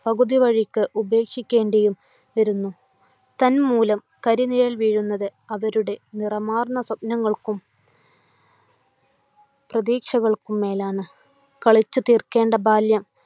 പകുതി വഴിക്ക് ഉപേക്ഷിക്കേണ്ടിയും വരുന്നു. തന്മൂലം, കരിനിഴൽ വീഴുന്നത് അവരുടെ നിറമാർന്ന സപ്നങ്ങൾക്കും പ്രതീക്ഷകൾക്കും മേലാണ്. കളിച്ച് തീർക്കേണ്ട ബാല്യം